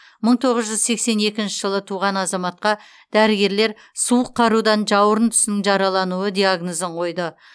мың тоғыз жүз сексен екінші жылы туған азаматқа дәрігерлер суық қарудан жауырын тұсының жаралануы диагнозын қойды